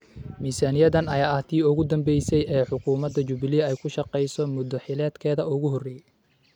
Miisaaniyadan ayaa ah tii ugu dambeysay ee xukuumadda Jubilee ay ku shaqeyso muddo xileedkeeda ugu horeeya.